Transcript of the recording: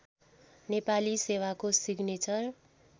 नेपाली सेवाको सिग्नेचर